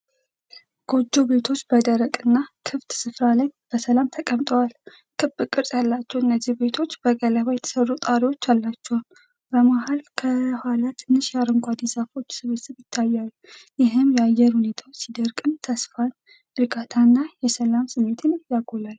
ጎጆ ቤቶች በደረቅና ክፍት ስፍራ ላይ በሰላም ተቀምጠዋል። ክብ ቅርጽ ያላቸው እነዚህ ቤቶች በገለባ የተሰሩ ጣሪያዎች አሏቸው። በመሃልና ከኋላ ትንሽ የአረንጓዴ ዛፎች ስብስብ ይታያል፤ ይህም የአየር ሁኔታው ቢደርቅም ተስፋን፣ እርጋታና የሰላም ስሜት ያጎላል።